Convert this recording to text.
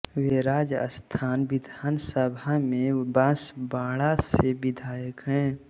वे राजस्थान विधानसभा में बांसवाड़ा से विधायक हैं